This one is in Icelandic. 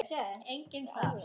Enginn þar.